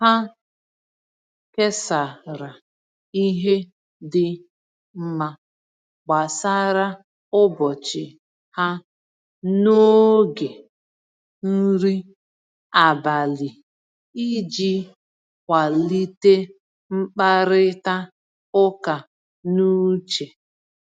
Ha kesara ihe dị mma gbasara ụbọchị ha n’oge nri abalị iji kwalite mkparịta ụka n’uche.